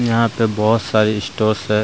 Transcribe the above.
यहां पे बहत सारे स्टोर्स हे --